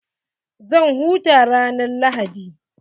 Zan huta ran lahadi.